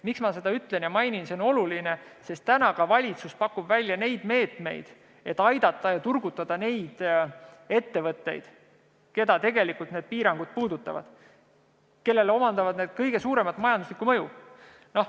Miks ma seda ütlen ja mainin – see on oluline, sest täna pakub ka valitsus välja meetmeid, et aidata ja turgutada ettevõtteid, keda need piirangud tegelikult puudutavad ja kellele need avaldavad kõige suuremat majanduslikku mõju.